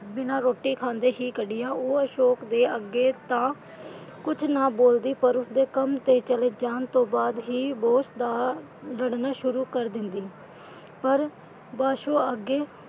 ਬਿਨਾਂ ਰੋਟੀ ਖਾਂਦੇ ਹੀ ਕੱਢੀਆਂ ਪਰ ਉਹ ਅਸ਼ੋਕ ਦੇ ਅੱਗੇ ਤਾਂ, ਕੁਝ ਨਾ ਬੋਲਦੀ ਪਰ ਉਸਦੇ ਕੰਮ ਤੇ ਚਲੇ ਜਾਣ ਤੋਂ ਬਾਅਦ ਹੀ boss ਦਾ ਲੜਨਾ ਕਰ ਦਿੰਦੀ ਪਰ ਬਾਸੂ ਅੱਗੇ,